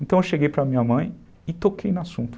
Então eu cheguei para minha mãe e toquei no assunto.